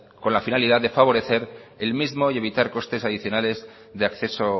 con la finalidad de favorecer el mismo y evitar costes adicionales de acceso